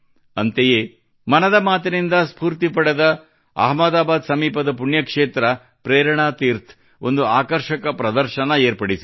ಅಂತೆಯೇ ಮನದ ಮಾತಿನಿಂದ ಸ್ಫೂರ್ತಿ ಪಡೆದ ಅಹಮದಾಬಾದ್ ಸಮೀಪದ ಪುಣ್ಯಕ್ಷೇತ್ರ ಪ್ರೇರಣಾ ತೀರ್ಥ್ ಒಂದು ಆಕರ್ಷಕ ಪ್ರದರ್ಶನ ಏರ್ಪಡಿಸಿದೆ